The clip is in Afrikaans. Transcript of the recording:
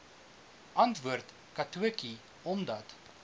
antwoord katotjie omdat